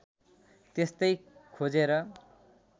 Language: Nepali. त्यस्तै खोजेर